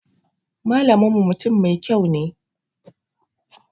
Malamin mu mutum Mai kyau ne.